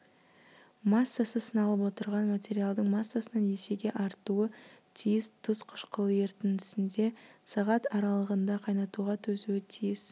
массасы сыналып отырған материалдың массасынан есеге артуы тиіс тұз қышқылы ерітіндесінде сағат аралығында қайнатуға төзуі тиіс